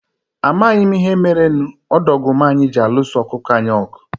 A maghị m ihe merenụ ọdọgụma anyị ji alụso okụkụ anyị ọgụ.